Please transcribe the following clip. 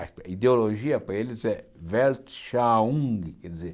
A ideologia para eles é Weltschauung, quer dizer...